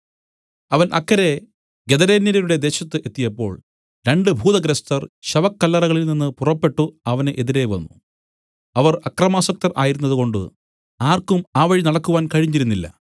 അവൻ അക്കരെ ഗദരേന്യരുടെ ദേശത്തു എത്തിയപ്പോൾ രണ്ടു ഭൂതഗ്രസ്തർ ശവക്കല്ലറകളിൽ നിന്നു പുറപ്പെട്ടു അവന് എതിരെ വന്നു അവർ അക്രമാസക്തർ ആയിരുന്നതുകൊണ്ട് ആർക്കും ആ വഴി നടക്കുവാൻ കഴിഞ്ഞിരുന്നില്ല